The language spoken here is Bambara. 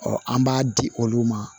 an b'a di olu ma